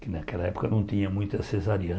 que naquela época não tinha muita cesariana.